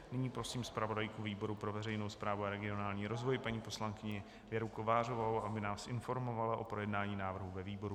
Nyní prosím zpravodajku výboru pro veřejnou zprávu a regionální rozvoj paní poslankyni Věru Kovářovou, aby nás informovala o projednání návrhu ve výboru.